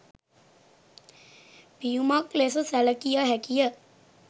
පියුමක් ලෙස සැලකිය හැකිය